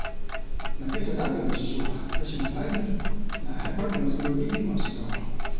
Nafisa ta fahimci cewa rashin tsari na haifar da matsaloli masu yawa.